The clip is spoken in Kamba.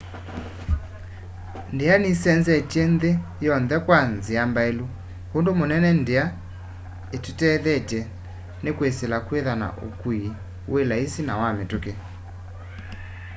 ndia nisenzetye nthi yonthe kwa nzia mbailu. undu munene ndia itutethetye ni kwisila kwithwa na ukui wi laisi na wa mitukí